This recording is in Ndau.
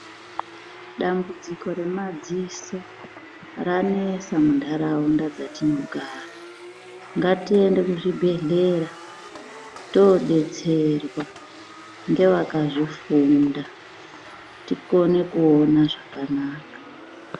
Dambudziko remadziso ranesa munharaunda dzatinogara, ngatiende kuzvibhedhlera todetserwa ngevakazvifunda tikone kuona zvakanaka.